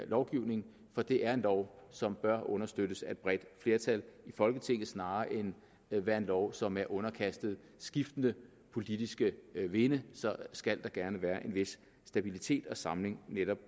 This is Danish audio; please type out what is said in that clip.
lovgivning for det er en lov som bør understøttes af et bredt flertal i folketinget snarere end at være en lov som er underkastet skiftende politiske vinde skal der gerne være en vis stabilitet og samling netop